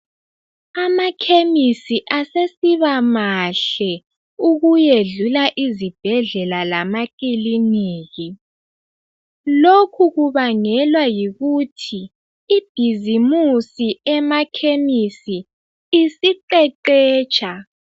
Amakhemisi asesibamahle ukuyedlula izibhedlela lamakilinika. Lokhu kubangelwa yikuthi ibhizimusi emakhemisi isiqeqetsha.